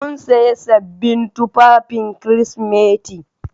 Mun sayi sabbin tufafin Kirsimeti.